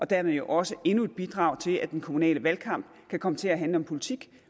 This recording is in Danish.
dermed jo også endnu et bidrag til at den kommunale valgkamp kan komme til at handle om politik